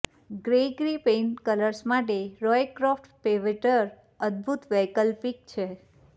ગ્રેયગી paint colours માટે Roycroft pewter અદભૂત વૈકલ્પિક છે